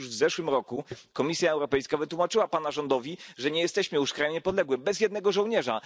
Przecież już w zeszłym roku Komisja Europejska wytłumaczyła Pana rządowi, że nie jesteśmy już krajem niepodległym, bez jednego żołnierza.